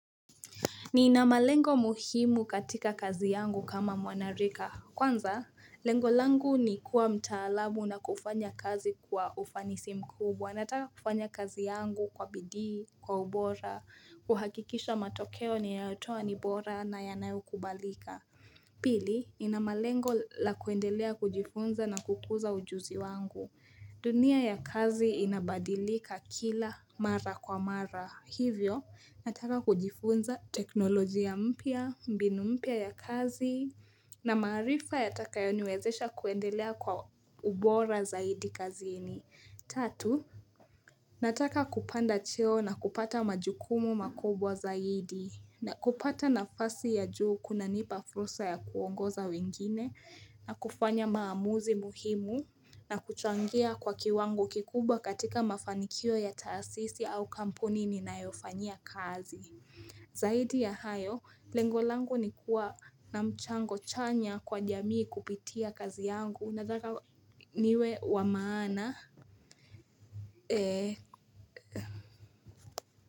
Nina malengo muhimu katika kazi yangu kama mwanarika. Kwanza, lengo langu ni kuwa mtaalamu na kufanya kazi kwa ufanisi mkubwa. Nataka kufanya kazi yangu kwa bidii, kwa ubora, kuhakikisha matokeo ninayotoa ni bora na yanayokubalika. Pili, nina malengo la kuendelea kujifunza na kukuza ujuzi wangu. Dunia ya kazi inabadilika kila mara kwa mara. Hivyo, nataka kujifunza teknolojia mpya, mbinu mpya ya kazi na maarifa yatakayoniwezesha kuendelea kwa ubora zaidi kazini. Tatu, nataka kupanda cheo na kupata majukumu makubwa zaidi na kupata nafasi ya juu kunanipa fursa ya kuongoza wengine na kufanya maamuzi muhimu na kuchangia kwa kiwango kikubwa katika mafanikio ya taasisi au kampuni ninayofanyia kazi. Zaidi ya hayo, lengo langu ni kuwa na mchango chanya kwa jamii kupitia kazi yangu nataka niwe wa maana.